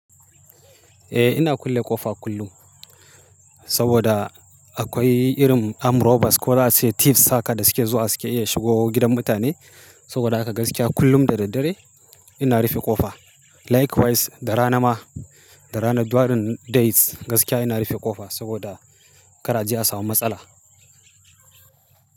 Eh ina kulle ƙofa kullum, saboda akwai irin armed robbers ko za a ce thieves haka da suke zuwa suke iya shigo gidan mutane. Saboda haka gaskiya kullum da daddare ina rufe ƙofa. Likewise, da rana ma. Da rana duk wannan days, gaskiya ina rife kofa saboda kar a je a samu matsala.